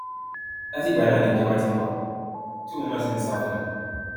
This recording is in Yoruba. láti ìgbà náà ni ìjọba ti ń wá a tí òun náà sì ń sá fún wọn